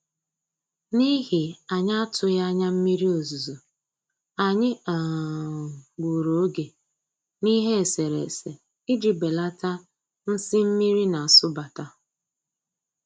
N'ihi anyị atụghị anya mmiri ozuzo, anyị um gburu oge n'ihe eserese iji belata nsi mmiri na-asụbata